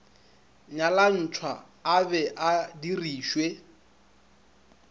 nyalantšhwa a be a dirišwe